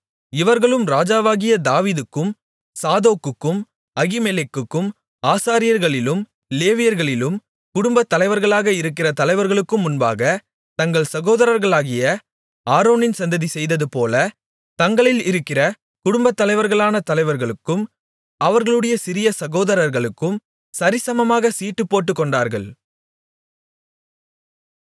இவர்களும் ராஜாவாகிய தாவீதுக்கும் சாதோக்குக்கும் அகிமெலேக்குக்கும் ஆசாரியர்களிலும் லேவியர்களிலும் குடும்பத் தலைவர்களாக இருக்கிற தலைவர்களுக்கும் முன்பாக தங்கள் சகோதரர்களாகிய ஆரோனின் சந்ததி செய்ததுபோல தங்களில் இருக்கிற குடும்பத் தலைவர்களான தலைவர்களுக்கும் அவர்களுடைய சிறிய சகோதரர்களுக்கும் சரிசமமாக சீட்டு போட்டுக்கொண்டார்கள்